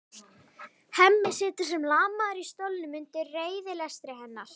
Hemmi situr sem lamaður í stólnum undir reiðilestri hennar.